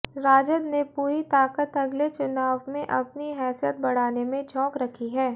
राजद ने पूरी ताकत अगले चुनाव में अपनी हैसियत बढ़ाने में झोंक रखी है